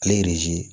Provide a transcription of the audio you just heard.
Ale